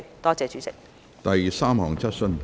第三項質詢。